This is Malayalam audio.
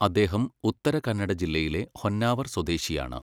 അദ്ദേഹം ഉത്തരകന്നഡ ജില്ലയിലെ ഹൊന്നാവർ സ്വദേശിയാണ്.